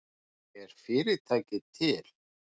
Er fyrirtækið til